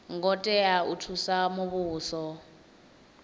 ngo tea u thusa muvhuso